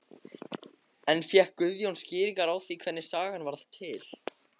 En fékk Guðjón skýringar á því hvernig sagan varð til?